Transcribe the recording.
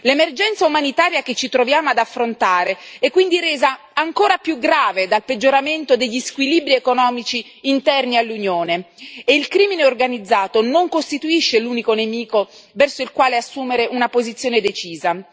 L'emergenza umanitaria che ci troviamo ad affrontare è quindi resa ancora più grave dal peggioramento degli squilibri economici interni all'Unione e il crimine organizzato non costituisce l'unico nemico verso il quale assumere una posizione decisa.